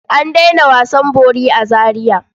An daina wasan bori a Zariya.